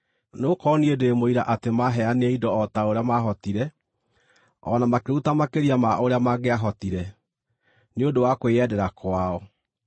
Nĩgũkorwo niĩ ndĩ mũira atĩ maaheanire indo o ta ũrĩa maahotire, o na makĩruta makĩria ma ũrĩa mangĩahotire, nĩ ũndũ wa kwĩyendera kwao.